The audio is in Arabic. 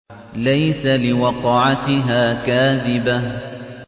لَيْسَ لِوَقْعَتِهَا كَاذِبَةٌ